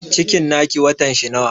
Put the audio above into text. Cikin na ki watan shi nawa?